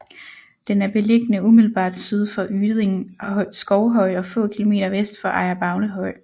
Den er beliggende umiddelbart syd for Yding Skovhøj og få kilometer vest for Ejer Bavnehøj